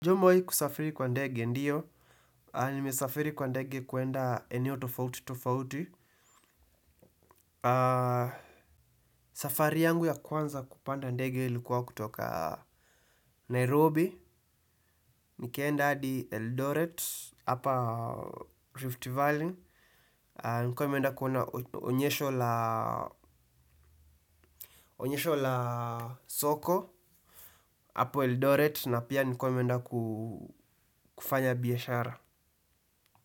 Je umewahi kusafiri kwa ndege ndio. Nimesafiri kwa ndege kuenda eneo tofauti tofauti. Safari yangu ya kwanza kupanda ndege ilikuwa kutoka Nairobi. Nikaenda adi Eldoret, hapa Rift Valley. Nilikuwa nimenda kuona onyesho la soko, hapa Eldoret na pia nilikuwa nimenda kufanya biashara.